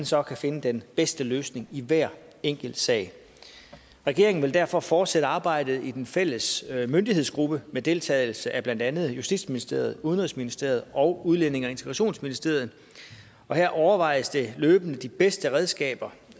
så kan finde den bedste løsning i hver enkelt sag regeringen vil derfor fortsætte arbejdet i den fælles myndighedsgruppe med deltagelse af blandt andet justitsministeriet udenrigsministeriet og udlændinge og integrationsministeriet og her overvejes der løbende de bedste redskaber